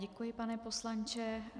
Děkuji, pane poslanče.